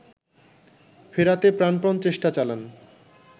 ফেরাতে প্রাণপন চেষ্টা চালান